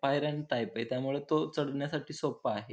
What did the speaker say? पायऱ्यां टाइपय त्यामुळ तो चढण्यासाठी सोप आहे.